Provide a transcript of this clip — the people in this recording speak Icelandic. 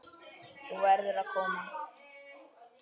Þú verður að koma!